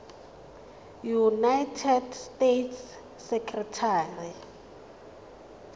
united states secretary